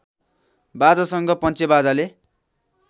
बाजासँग पञ्चेबाजाले